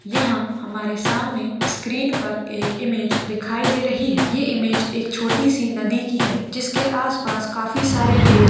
यहा हमारे सामने स्क्रीन पर एक इमेज दिखाई दे रही है ये इमेज एक छोटी सी नदी की है जिसके आसपास काफी सारे पेड़--